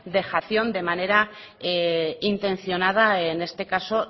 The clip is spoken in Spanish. dejación de manera intencionada en este caso